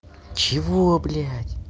чего блядь